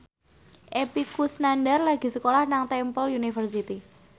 Epy Kusnandar lagi sekolah nang Temple University